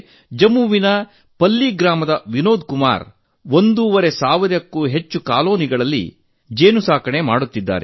ಜಮ್ಮುವಿನ ಪಲ್ಲಿ ಗ್ರಾಮದ ವಿನೋದ್ ಕುಮಾರ್ ಅವರು ಒಂದೂವರೆ ಸಾವಿರಕ್ಕೂ ಹೆಚ್ಚು ಕಾಲೋನಿಗಳಲ್ಲಿ ಜೇನುಸಾಕಣೆ ಮಾಡುತ್ತಿದ್ದಾರೆ